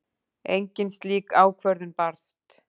Engin slík ákvörðun barst